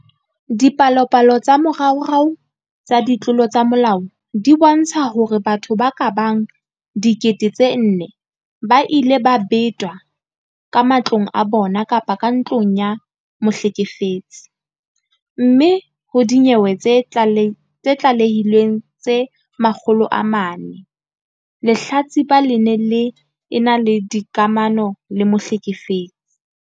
Dipalopalo tsa moraorao tsa ditlolo tsa molao di bontsha hore batho ba ka bang 4 000 ba ile ba betelwa ka matlong a bona kapa ntlong ya mohlekefetsi, mme ho dinyewe tse tlalehilweng tse 400, lehlatsipa le ne le ena le dikamano le mohlekefetsi.